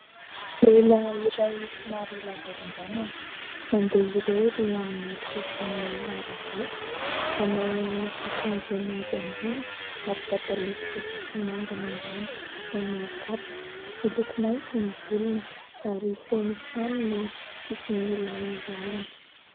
Lehilahy iray somary lava ranjanana, mandeha irery amin'ny sisin'ny arabe. Manao akanjo mainty ambony ary pataloha fotsy sy manga ny ambany, manao kapa. Miloko mainty ny volony ary feno trano ny sisin'ny làlana.